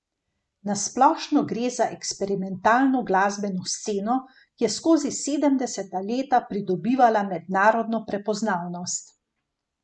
Na splošno gre za eksperimentalno glasbeno sceno, ki je skozi sedemdeseta leta pridobivala mednarodno prepoznavnost.